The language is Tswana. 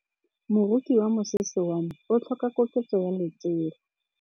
Moroki wa mosese wa me o tlhoka koketsô ya lesela.